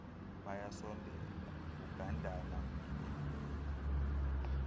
bayasondela kugandana yimigudu